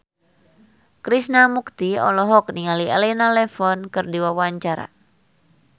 Krishna Mukti olohok ningali Elena Levon keur diwawancara